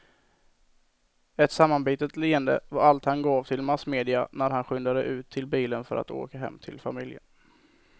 Ett sammanbitet leende var allt han gav till massmedia när han skyndade ut till bilen för att åka hem till familjen.